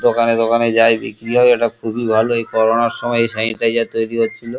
দোকানে দোকানে যাই বিক্রি হয় এটা খুবই ভালো কোরোনার সময় এই সেনিটাইজার তৈরি হচ্ছিল।